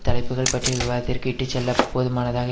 தலைப்புக்கள் பற்றிய விவாதத்திற்கு இட்டு செல்ல போதுமானதாக